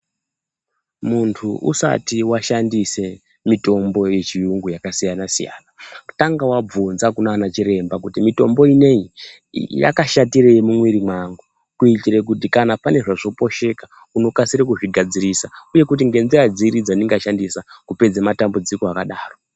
Muntu usati washandise mitombo yechiyungu yakasiyanasiyana tanga wabvunze kunaana chiremba kuti mitombo inoii yakashatirei mumwiri mwangu kuitire kuti kana panezvazoposheka unokasire kuzvigadzirisa uye kuti ngenzira dziri dzandinga shandisa kupedze matambudziko akadaro.